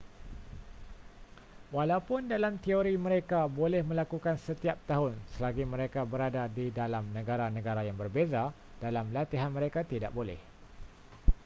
walaupun dalam teori mereka boleh melakukan setiap tahun selagi mereka berada di dalam negara-negara yang berbeza dalam latihan mereka tidak boleh